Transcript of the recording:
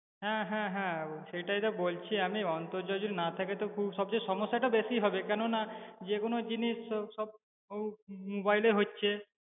হ্যাঁ হ্যাঁ হ্যাঁ সেটাই তো বলছি আমি অন্তর্জাল যদি না থাকে তো খুব সবচেয়ে সমস্যাটা বেশি হবে, কেননা যে কোনো জিনিস স~ সব mobile এ হচ্ছে